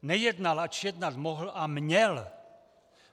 Nejednal, ač jednat mohl a měl.